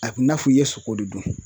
A bɛ i n'a fɔ i ye sogo de dun.